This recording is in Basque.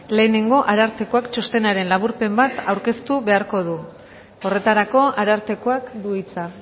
lehenengo arartekoak txostenaren laburpen bat aurkeztu beharko du horretarako arartekoak du hitza